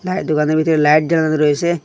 দোকানের ভিতরে লাইট জ্বালানো রয়েসে ।